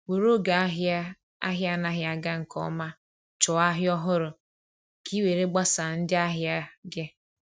were oge ahia ahia anaghi aga nke ọma chọọ ahịa ọhụrụ ka ị were gbasaa ndị ahịa gị.